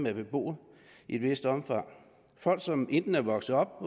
er beboet i et vist omfang af folk som enten er vokset op